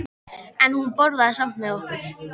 En hún borðaði samt með okkur.